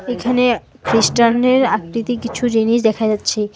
এখানে খ্রিস্টানদের আকৃতি কিছু জিনিস দেখা যাচ্ছে।